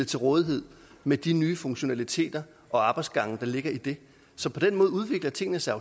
til rådighed med de nye funktionaliteter og arbejdsgange der ligger i det så på den måde udvikler tingene sig